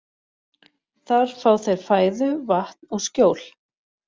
Þar fá þeir fæðu, vatn og skjól.